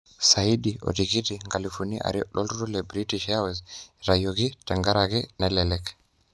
Saidi otikiti nkalifuni are loturur le British Airways itayioki tengaraki nelelek